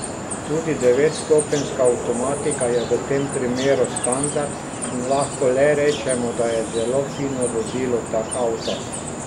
Tudi devetstopenjska avtomatika je v tem primeru standard in lahko le rečemo, da je zelo fino voziti tak avto.